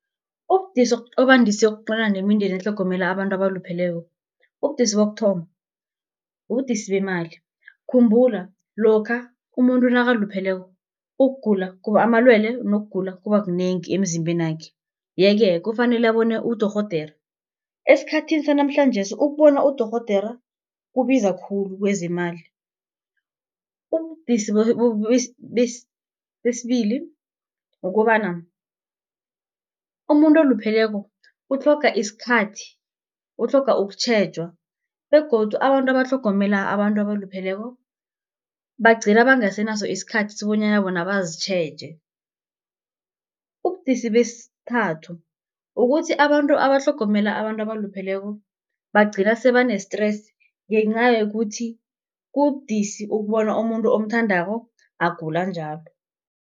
Ubudisi obandise ukuqalana nemindeni etlhogomela abantu abalupheleko. Ubudisi bokuthoma ubudisi bemali. Khumbula lokha umuntu nakalupheleko, ukugula amalwele nokugula kuba kunengi emzimbenakhe, ye-ke kufanele abone udorhodere. Esikhathini sanamhlanjesi, ukubona udorhodere kubiza khulu kezemali. Ubudisi besibili kukobana umuntu olupheleko utlhoga isikhathi, utlhoga ukutjhejwa begodu abantu abatlhogomela abantu abalupheleko bagcina bangasenaso isikhathi sokobanyana bona bazitjheje. Ubudisi besithathu ukuthi abantu abatlhogomela abantu abalupheleko, bagcina sebane-stress, ngenca yokuthi kubudisi ukubona umuntu omthandako agula njalo.